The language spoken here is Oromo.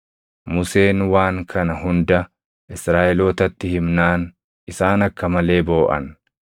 Museen waan kana hunda Israaʼelootatti himnaan isaan akka malee booʼan.